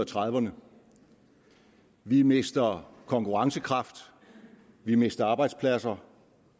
trediverne vi mister konkurrencekraft vi mister arbejdspladser